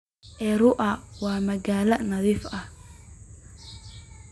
Arua waa magaalo nadiif ah.